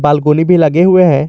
Balcony भी लगे हुए हैं।